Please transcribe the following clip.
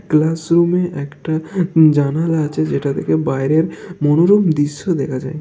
Class রুমের একটা জানালা আছে যেটা থেকে বাইরের মনোরম দৃশ্য দেখা যায়।